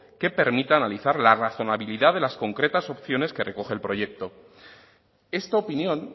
que permita analizar la razonabilidad de las concretas opciones que recoge el proyecto esta opinión